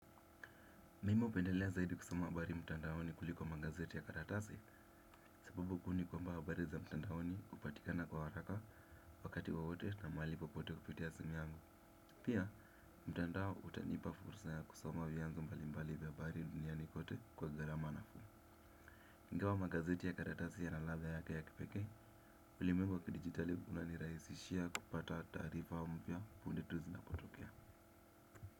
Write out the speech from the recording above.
Mimi upendelea zaidi kusoma habari mtandaoni kuliko magazeti ya karatasi. Sababu kuu ni kwamba habari za mtandaoni upatikana kwa haraka wakati wowote na mahali popote kupitia simu yangu. Pia mtandao utanipa fursa ya kusoma vianzo mbali mbali vya habari duniani kote kwa garama nafuu ingawa magazeti ya karatasi yana ladha yake ya kipekee. Ulimwengu wa kidigitali unaniraisishia kupata taarifa mpya punde tu zinapotokea.